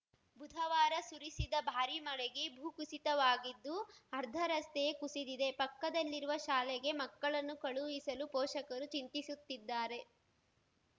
ಬುಧವಾರ ಸುರಿಸಿದ ಭಾರಿ ಮಳೆಗೆ ಭೂ ಕುಸಿತವಾಗಿದ್ದು ಅರ್ಧ ರಸ್ತೆಯೇ ಕುಸಿದಿದೆ ಪಕ್ಕದಲ್ಲಿರುವ ಶಾಲೆಗೆ ಮಕ್ಕಳನ್ನು ಕಳುಹಿಸಲು ಪೋಷಕರು ಚಿಂತಿಸುತ್ತಿದ್ದಾರೆ